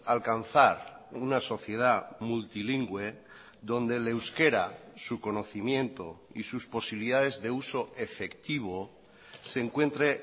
alcanzar una sociedad multilingüe donde el euskera su conocimiento y sus posibilidades de uso efectivo se encuentre